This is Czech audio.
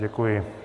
Děkuji.